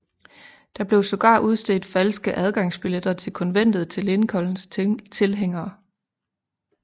Der blev sågar udstedt falske adgangsbilletter til konventet til Lincolns tilhængere